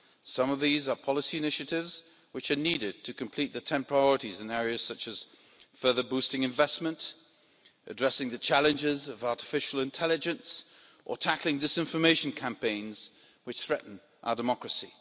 Some of these are policy initiatives which are needed to complete the 10 priorities in areas such as further boosting investment, addressing the challenges of artificial intelligence or tackling disinformation campaigns which threaten our democracy.